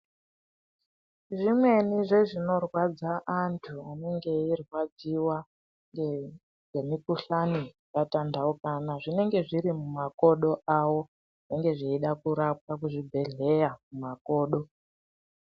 Zvimweni zvezvinorwadza antu anenge eirwadziwa ngemikuhlani yakatandaukana, zvinenge zviri mumakodo awo zvinenge zveida kurapwa kuzvibhedhleya mumakodo.